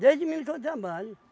Desde menino que eu trabalho.